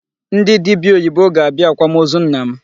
Ndị dibia oyibo ga-abịa akwamozu nna m.